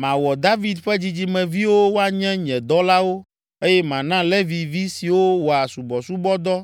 Mawɔ David ƒe dzidzimeviwo woanye nye dɔlawo eye mana Levi vi siwo wɔa subɔsubɔdɔ